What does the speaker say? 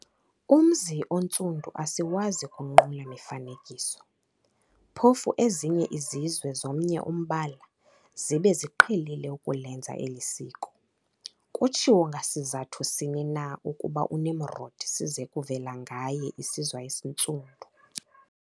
Umz'oNtsundu asiwazi kunqula mifanekiso, phofu ezinye izizwe zomnye umbala, zibe ziqhelile ukulenza eli siko. Kutshiwo ngasizathu sini na ukuba uNimrodi size kuvela ngaye isizwe esiNtsundu?